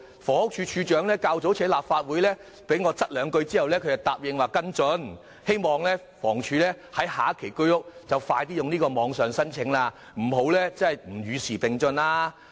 房屋署署長較早前在立法會被我再三追問後答應跟進，我也希望房屋署與時並進，在下一期推出居屋時容許網上遞交申請。